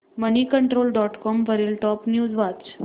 Moneycontrol dot com वरील top news वाच